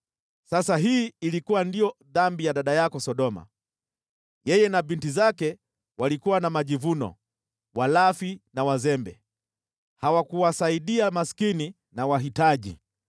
“ ‘Sasa hii ilikuwa ndiyo dhambi ya dada yako Sodoma: yeye na binti zake walikuwa na majivuno, walafi na wazembe, hawakuwasaidia maskini na wahitaji.